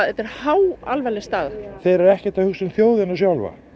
þetta er háalvarleg staða þeir eru ekkert að hugsa um þjóðina sjálfa